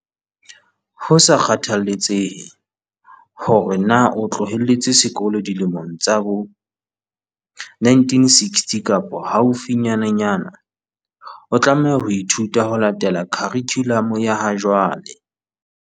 Ho sa kgathaletsehe hore na o tloheletse sekolo dilemong tsa bo 1960 kapa haufinyananyana, o tlameha ho ithuta ho latela khurikhulamu ya ha jwale.